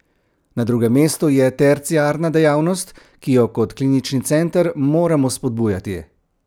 Na drugem mestu je terciarna dejavnost, ki jo kot klinični center moramo spodbujati.